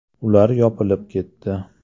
Ular yopilib ketdi.